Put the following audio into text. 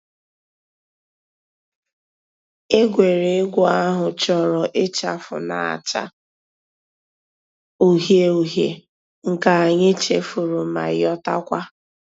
Ègwè́ré́gwụ̀ àhụ̀ chọ̀rọ̀ ịchàfụ̀ nà-àchá ǔhíe ǔhíe, nke ànyị̀ chèfùrù mà yotakwa.